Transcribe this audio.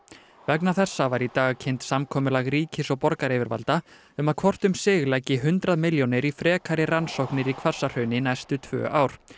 vegna þessa var í dag kynnt samkomulag ríkis og borgaryfirvalda um að hvort um sig leggi hundrað milljónir í frekari rannsóknir í Hvassahrauni næstu tvö ár